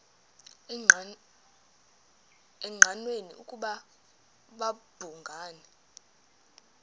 engqanweni ukuba babhungani